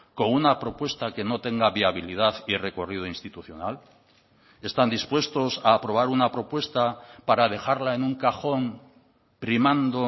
con una propuesta que no tenga viabilidad y recorrido institucional están dispuestos a aprobar una propuesta para dejarla en un cajón primando